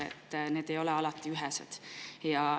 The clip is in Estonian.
Need põhjused ei ole alati ühesed.